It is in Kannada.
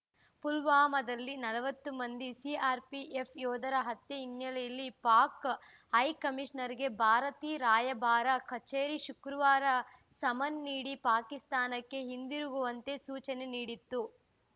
ಪುಲ್ವಾಮಾದಲ್ಲಿ ನಲವತ್ತು ಮಂದಿ ಸಿಆರ್‌ಪಿಎಫ್‌ ಯೋಧರ ಹತ್ಯೆ ಹಿನ್ನೆಲೆಯಲ್ಲಿ ಪಾಕ್‌ ಹೈಕಮಿಷನರ್‌ಗೆ ಭಾರತಿ ರಾಯಭಾರ ಕಚೇರಿ ಶುಕ್ರವಾರ ಸಮನ್ ನೀಡಿ ಪಾಕಿಸ್ತಾನಕ್ಕೆ ಹಿಂದಿರುಗುವಂತೆ ಸೂಚನೆ ನೀಡಿತ್ತು